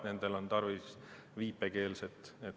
Nendel on tarvis viipekeeletõlki.